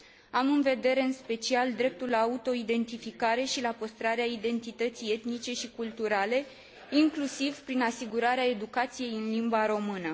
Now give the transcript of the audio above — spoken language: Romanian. Am în vedere în special dreptul la autoidentificare și la păstrarea identității etnice și culturale, inclusiv prin asigurarea educației în limba română.